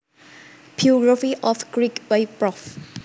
Biography of Grieg by prof